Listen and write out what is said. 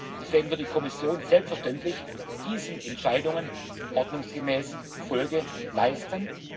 Deswegen wird die Kommission selbstverständlich diesen Entscheidungen ordnungsgemäß Folge leisten.